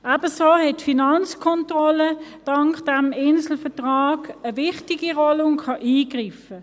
Ebenso hat die Finanzkontrolle, dank des Inselvertrags, eine wichtige Rolle und kann eingreifen.